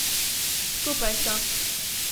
Skupaj so.